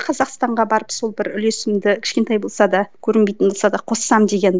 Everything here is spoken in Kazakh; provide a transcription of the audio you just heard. қазақстанға барып сол бір үлесімді кішкентай болса да көрінбейтін болса да қоссам деген